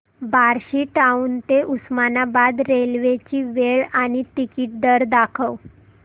Barshi town ते Osmanabad railway ची वेळ आणि तिकीट दर दाखव